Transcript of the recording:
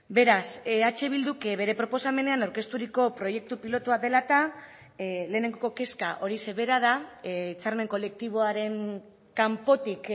beraz eh bilduk bere proposamenean aurkezturiko proiektu pilotua dela eta lehenengo kezka horixe bera da hitzarmen kolektiboaren kanpotik